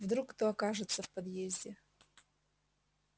вдруг кто окажется в подъезде